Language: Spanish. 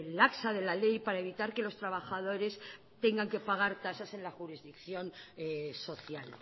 laxa de la ley para evitar que los trabajadores tengan que pagar tasas en la jurisdicción social